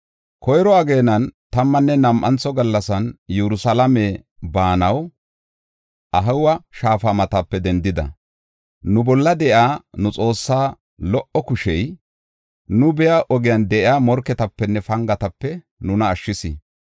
Koyro ageenan tammanne nam7antho gallasan Yerusalaame baanaw Ahawa Shaafa matape dendida. Nu bolla de7iya nu Xoossaa lo77o kushey nu biya ogen de7iya morketapenne pangatape nuna ashshis.